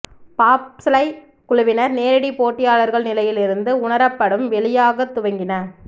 பாப்ஸ்லை குழுவினர் நேரடி போட்டியாளர்கள் நிலையில் இருந்து உணரப்படும் வெளியாகத் துவங்கின